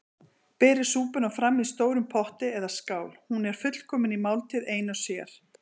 Berið súpuna fram í stórum potti eða skál- hún er fullkomin máltíð ein og sér.